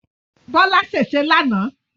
Bọ́lá ṣèṣé lánàá